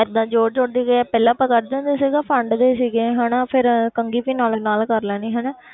ਏਦਾਂ ਜ਼ੋਰ ਜ਼ੋਰ ਦੀ ਕਿ ਪਹਿਲਾਂ ਆਪਾਂ ਕਰਦੇ ਹੁੰਦੇ ਸੀ ਉਦੋਂ ਫੰਡਦੇ ਸੀਗੇ ਹਨਾ, ਫਿਰ ਕੰਘੀ ਵੀ ਨਾਲੋ ਨਾਲ ਕਰ ਲੈਣੀ ਹਨਾ।